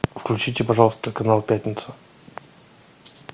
включите пожалуйста канал пятница